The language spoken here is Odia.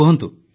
କୁହନ୍ତୁ